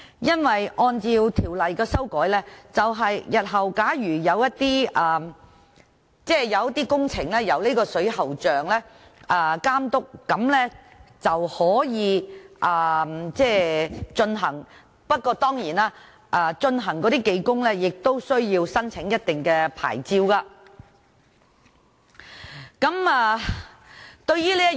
因為有關修訂是，日後的工程由水喉匠監督便可以進行，不過負責的技工當然亦需要申領特定牌照。